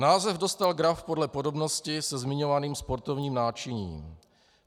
Název dostal graf podle podobnosti se zmiňovaným sportovním náčiním.